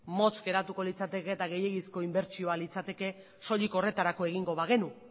motz geratuko litzateke eta gehiegizko inbertsioa litzateke soilik horretarako egingo bagenu